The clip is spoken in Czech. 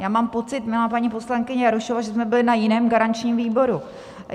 Já mám pocit, milá paní poslankyně Jarošová, že jsme byly na jiném garančním výboru.